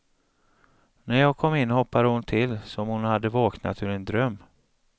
När jag kom in hoppade hon till, som om hon hade vaknat ur en dröm.